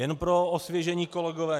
Jen pro osvěžení, kolegové.